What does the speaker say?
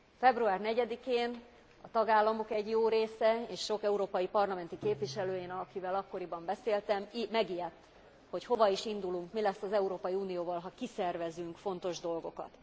Február 4 én a tagállamok egy jó része és sok európai parlamenti képviselő akivel akkoriban beszéltem megijedt, hogy hova is indulunk, mi lesz az Európai Unióval, ha kiszervezünk fontos dolgokat.